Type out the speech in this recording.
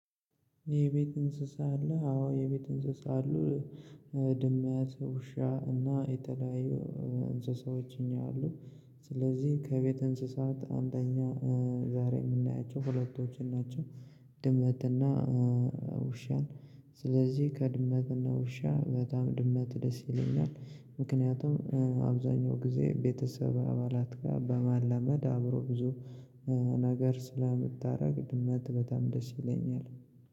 የቤት እንስሳ አለህ? አዎ የቤት እንስሳ አሉ ድመት ውሻ እና የተለያዩ እንስሳዎች እኛ አሉን ስለዚህ ከቤት እንስሳት አንደኛ ዛሬ የምናያቸው ሁለቶችን ናቸው ድመትና ውሻን ስለዚህ ከድመትና ውሻ በጣም ድመት ደስ ይለኛል ምክንያቱም አብዛኛው ጊዜ ቤተሰብ አባላት ጋር በማላመድ አብሮ ብዙ ነገር ስለምታደርግ ድመት በጣም ደስ ይለኛል